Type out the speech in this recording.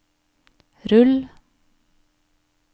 rull